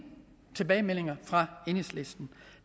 tilbagemeldinger fra enhedslisten